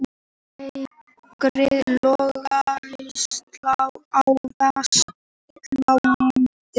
Veikari löggæsla á Vesturlandi